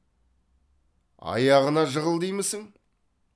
аяғына жығыл деймісің